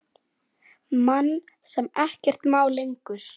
Mann sem ekkert má lengur.